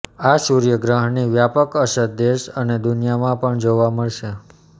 આ સૂર્યગ્રહણની વ્યાપક અસર દેશ અને દુનિયામાં પણ જોવા મળશે